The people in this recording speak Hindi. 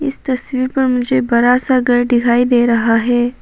इस तस्वीर पर मुझे बड़ा सा घर दिखाई दे रहा है।